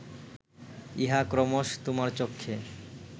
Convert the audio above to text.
ইহা ক্রমশ তোমার চক্ষে